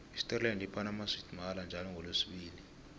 isterland iphana amaswidi mahala njalo ngolesibili